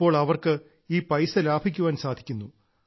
ഇപ്പോൾ അവർക്ക് ഈ പൈസ ലാഭിക്കാൻ സാധിക്കുന്നു